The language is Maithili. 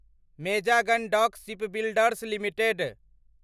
Mazagon Dock Shipbuilders limited